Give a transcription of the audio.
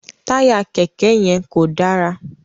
Taya kẹkẹ yẹn kò dára